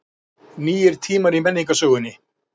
Nýir tímar í menningarsögunni